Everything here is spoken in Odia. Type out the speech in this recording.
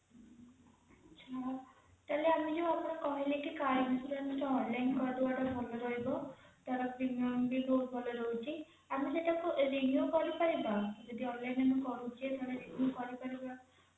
ଆଚ୍ଛା ତାହେଲେ ଆପଣ ଯୋଉ କହିଲେ କି car insurance ଟା online କରିଦବା ଟା ଭଲ ରହିବ ଟା premium ବି ବହୁତ ଭଲ ରହୁଛି ଆମେ ସେଇଟା renew କରିପାରିବା ଯଦି online ଆମେ କରୁଚେ renew କରିପାରିବା